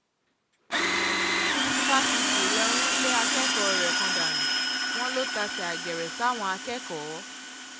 fásitì ìlọrin lé akẹ́kọ̀ọ́ rẹ̀ kan dànù wọ́n lọ tàsé àgèrè sáwọn akẹ́kọ̀ọ́